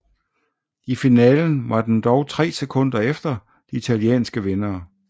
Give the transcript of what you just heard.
I finalen var den dog 3 sekunder efter de italienske vindere